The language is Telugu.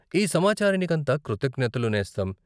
ఈ సమాచారనికంతా కృతజ్ఞతలు, నేస్తం.